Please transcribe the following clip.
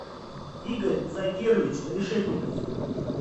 игорь закирович решетников